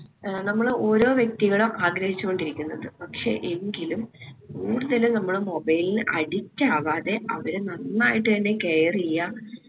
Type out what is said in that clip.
ഏർ നമ്മള് ഓരോ വ്യക്തികളും ആഗ്രഹിച്ചു കൊണ്ടിരിക്കുന്നത് പക്ഷെ എങ്കിലും കൂടുതല് നമ്മള് mobile ന് addict ആവാതെ അവരെ നന്നായിട്ട് തന്നെ care എയ്യാ